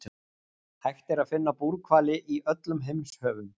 hægt er að finna búrhvali í öllum heimshöfum